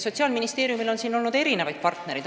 Sotsiaalministeeriumil on olnud erinevaid partnereid.